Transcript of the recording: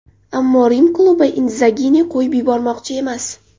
Ammo Rim klubi Indzagini qo‘yib yubormoqchi emas.